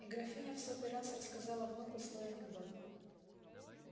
и графиня в сотый раз рассказала внуку свой анекдот